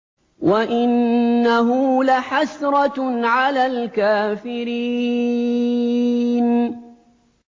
وَإِنَّهُ لَحَسْرَةٌ عَلَى الْكَافِرِينَ